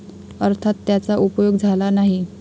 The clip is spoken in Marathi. अर्थात त्याचा उपयोग झाला नाही.